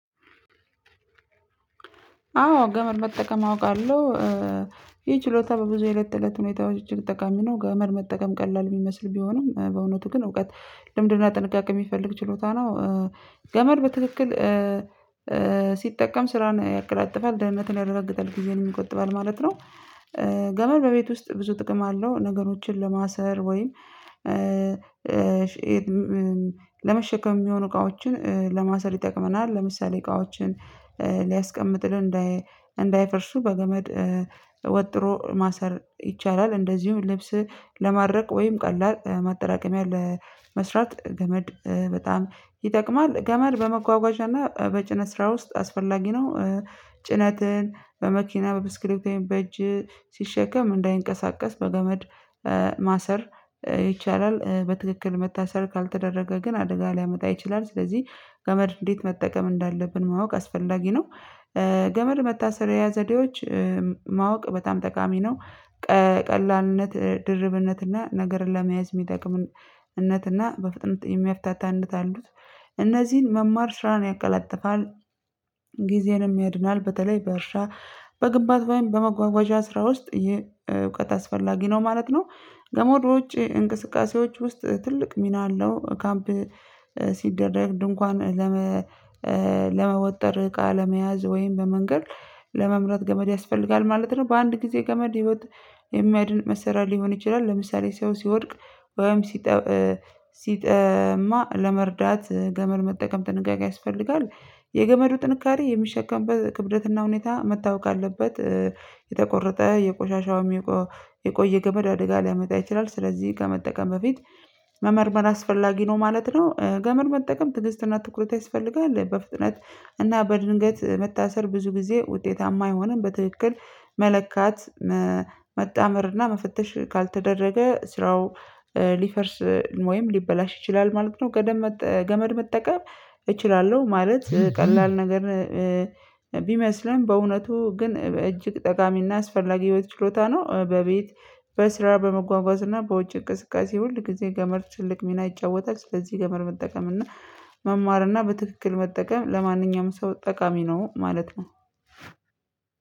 አዎ ገመድ መጠቀም አውቃለሁ ይህ ችሎታ በብዙ የለት ተለት ሁኔታዎች ጠቃሚ ነው ገመድ መጠቀም ቀላል ቢመስል ቢሆንም በእውነቱ ግን እውቀት ልምድና ጥንቃቄ የሚፈልግ ችሎታ ነው። ገመድ በትክክል ሲጠቀም ስራን ያቀላጥፋል ደህንነትን ያረጋግጣል ጊዜንም ይቆጥባል ማለት ነው። ገመድ በቤት ውስጥ ብዙ ጥቅም አለው ነገሮችን ለማሰር ወይም ለመሸከም የሚሆኑ እቃዎችን ለማሰር ይጠቅመናል ለምሳሌ እቃዎችን ሊያስቀምጥልን እንዳይፈርሱ በገመድ ወጥሮ ማሰር ይቻላል። እንደዚሁም ልብስ ለማድረቅ ወይም ቀላል ማጠራቀሚያ ለመስራት ገመድ በጣም ይጠቅማል። ገመድ በመጓጓዣና በጭነት ስራ ውስጥ አስፈላጊ ነው። ጭነትን በመኪና በብስክሌት በእጅ ሲሸከም እንዳይንቀሳቀስ በገመድ ማሰር ይቻላል በትክክል መታሰር ካልተደረገ ግን አደጋ ሊያመጣ ይችላል። ስለዚህ ገመድ እንዴት መጠቀም እንዳለብን ማወቅ አስፈላጊ ነው። ገመድ መታሰሪያ ዘዴዎች ማወቅ በጣም ጠቃሚ ነው። ቀላልነት ድርብነትና ነገርን ለመያዝ የሚጠቅምነትና በፍጥነት የሚያፍታታነት አሉት እነዚህን መማር ስራን ያቀላጥፋል። ጊዜንም ያድናል በተለይ በእርሻ በግብአት ወይም በመጓጓዣ ስራ ውስጥ ይሄ እውቀት አስፈላጊ ነው ማለት ነው። ገመዶች እንቅስቃሴዎች ውስጥ ትልቅ ሚና አለው ካምፕ ሲደረግ ድንኳን ለመ ለመወጠር እቃ ለመያዝ ወይም በመንገድ ለመምረጥ ገመድ ያስፈልጋል ማለት ነው። በአንድ ጊዜ ገመድ ህይወት የሚድን መሳሪያ ሊሆን ይችላል። ለምሳሌ ሰው ሲወድቅ ወይም ሲጠማ ለመርዳት ገመድ መጠቀም ጥንቃቄ ያስፈልጋል። የገመዱ ጥንካሬ የሚሸከምበት ክብደትና ሁኔታ መታወቅ አለበት። የተቆረጠ የቆሻሻው የቆየ ገመድ አደጋ ሊያመጣ ይችላል ስለዚህ ከመጠቀም በፊት መመርመር አስፈላጊ ነው ማለት ነው። ገመር መጠቀም ትግስትና ትኩረት ያስፈልጋል በፍጥነት እና በድንገት መታሰር ብዙ ጊዜ ውጤታማ አይሆንም። በትክክል መለካት መጣመርና መፈተሽ ካልተደረገ ስራው ሊፈርስ ወይም ሊበላሽ ይችላል ማለት ነው። ከደመጠ ገመድ መጠቀም እችላለሁ ማለት ቀላል ነገር ቢመስልም በእውነቱ ግን እጅግ ጠቃሚና አስፈላጊው ችሎታ ነው። በቤት በስራ በመጓጓዝ እና በውጭ እቅስቃሴ ሁል ጊዜ ገመድ ትልቅ ሚና ይጫወታል። ስለዚህ ገመድ መጠቀም እና መማር እና በትክክል መጠቀም ለማንኛውም ሰው ጠቃሚ ነው ማለት ነው።